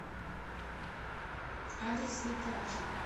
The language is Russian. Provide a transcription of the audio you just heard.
адрес витачи